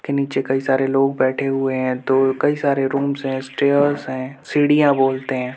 के नीचे कई सारे लोग बैठे हुए हैं। दो कई सारे रूम्स हैं। स्टेयर्स हैं। सीढ़ियाँ बोलते है।